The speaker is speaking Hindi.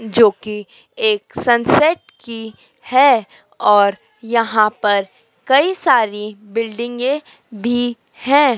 जोकि एक सनसेट की हैं और यहां पर कई सारी बिल्डिंगे भी है।